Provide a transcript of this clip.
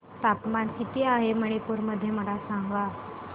तापमान किती आहे मणिपुर मध्ये मला सांगा